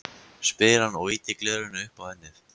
spyr hann og ýtir gleraugunum upp á ennið.